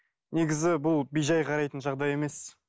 негізі бұл бей жай қарайтын жағдай емес